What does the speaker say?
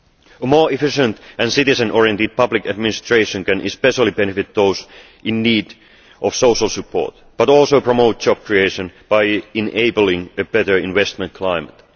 A more efficient and citizen oriented public administration can especially benefit those in need of social support but also promote job creation by enabling a better investment climate.